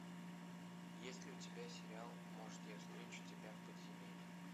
есть ли у тебя сериал может я встречу тебя в подземелье